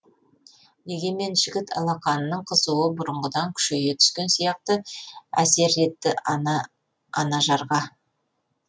дегенмен жігіт алақанының қызуы бұрынғыдан күшейе түскен сияқты әсер етті анажарға